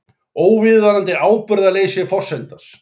Óviðunandi ábyrgðarleysi forsetans